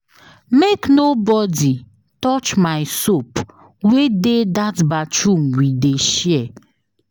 Make nobodi touch my soap wey dey dat bathroom we dey share.